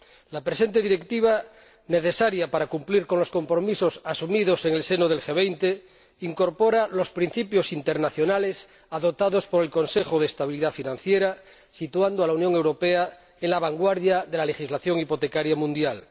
La presente Directiva, necesaria para cumplir con los compromisos asumidos en el seno del G20, incorpora los principios internacionales adoptados por el Consejo de Estabilidad Financiera, situando a la Unión Europea en la vanguardia de la legislación hipotecaria mundial.